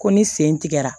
Ko ni sen tigɛra